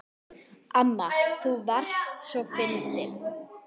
Amma þú varst svo fyndin.